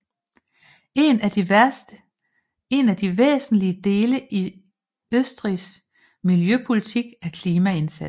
En af de væsentligste dele i Østrigs miljøpolitik er klimaindsatsen